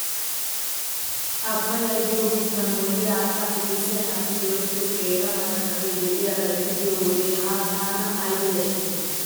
Abaayaa giyoo biittan moliyaa haattaappe kessiyaa naati go'ettiyoo qeera markkabiyaa de'iyaarrira eti biyoo wode han tan ayba yashshes giidetii .